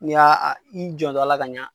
N'i y'a i jantto a ka ɲɛ.